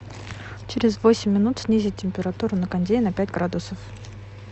через восемь минут снизить температуру на кондее на пять градусов